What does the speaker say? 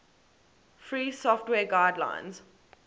free software guidelines